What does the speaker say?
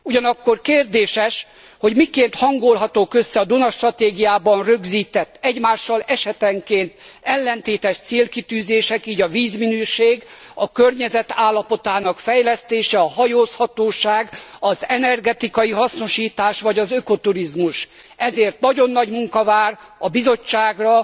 Ugyanakkor kérdéses, hogy miként hangolhatók össze a Duna stratégiában rögzített, egymással esetenként ellentétes célkitűzések, így a vízminőség, a környezet állapotának fejlesztése, a hajózhatóság, az energetikai hasznosítás vagy az ökoturizmus. Ezért nagyon nagy munka vár a Bizottságra,